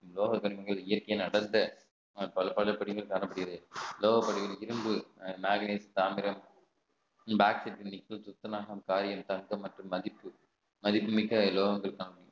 உலோகத்திற்குள் இயற்கையின் அடர்ந்த பல பல பிரிவுகள் காணப்படுகிறது இரும்பு மேக்னைட் தாமிரம் மற்றும் மதிப்பு மதிப்புமிக்க உலோகங்கள் தான்